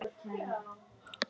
Flaug yfir holtið.